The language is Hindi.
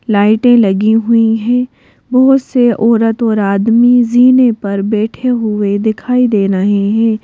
लाइटें लगी हुई हैं बहुत से औरत और आदमी जीने पर बैठे हुए दिखाई दे रहे हैं।